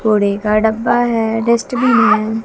घोड़े का डब्बा है डेस्टबिन है।